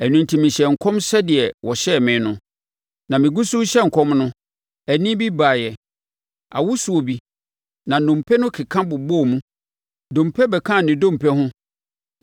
Ɛno enti mehyɛɛ nkɔm sɛdeɛ wɔhyɛɛ me no. Na megu so rehyɛ nkɔm no, ɛnne bi baeɛ, awosoɔ bi, na nnompe no keka bobɔɔ mu, dompe bɛkaa ne dompe ho.